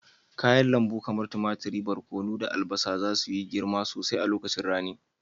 Kayan lambu kamar tumatir, barkono, da albasa za su yi girma sosai a lokacin rani.